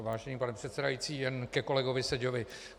Vážený pane předsedající, jen ke kolegovi Seďovi.